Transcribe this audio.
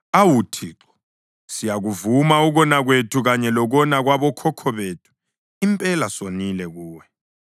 Awu Thixo, siyakuvuma ukona kwethu kanye lokona kwabokhokho bethu; impela sonile kuwe.